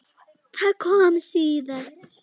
Það kom síðar.